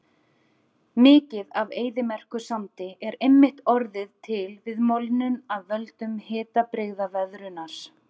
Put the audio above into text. Mikið af eyðimerkursandi er einmitt orðið til við molnun af völdum hitabrigðaveðrunar.